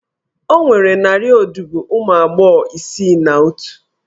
Ọ nwere narị odibo ụmụ agbọghọ isii na otu?